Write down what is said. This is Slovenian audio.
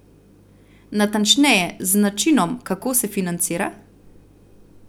Natančneje, z načinom, kako se financira?